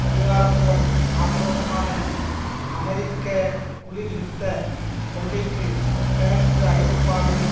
அதிகாரத்துவம் ஆக்ரோஷமான அமெரிக்க குளிர் யுத்த கொள்கைக்கு கிழக்கு ஐரோப்பாவில்